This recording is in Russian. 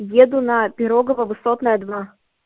еду на пирогово высотная два